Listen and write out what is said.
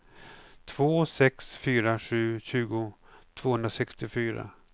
två sex fyra sju tjugo tvåhundrasextiofyra